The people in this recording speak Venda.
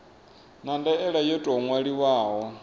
na ndaela yo tou ṅwaliwaho